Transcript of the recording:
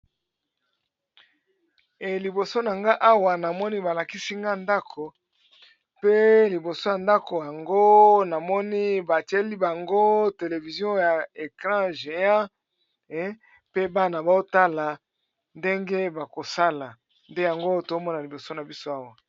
Eliboso na nga awa namoni balakisi nga ndako pe liboso ya ndako yango namoni batieli bango televizion ya ecran geant pe bana baotala ndenge bakosala nde yango tomona liboso na biso awa.